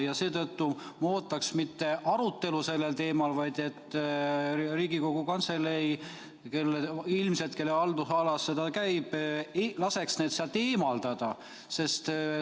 Ja seetõttu ma ootan mitte arutelu sellel teemal, vaid et Riigikogu Kantselei, kelle haldusalasse see käib, laseks need sealt eemaldada.